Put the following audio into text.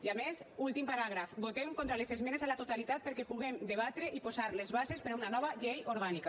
i a més últim paràgraf votem contra les esmenes a la totalitat perquè puguem debatre i posar les bases per a una nova llei orgànica